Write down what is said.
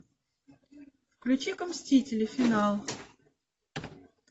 включи ка мстители финал